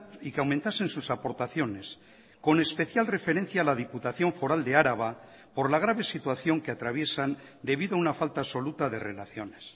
y que aumentasen sus aportaciones con especial referencia a la diputación foral de araba por la grave situación que atraviesan debido a una falta absoluta de relaciones